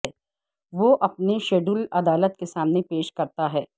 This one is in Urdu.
وہ اپنے شیڈول عدالت کے سامنے پیش کرتا ہے